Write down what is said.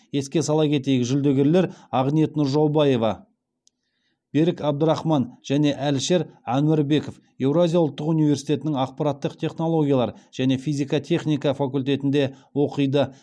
еске сала кетейік жүлдегерлер ақниет нұржаубаева берік әбдрахман және әлішер әнуарбеков еуразия ұлттық университетінің ақпараттық технологиялар және физика техника факультетінде оқиды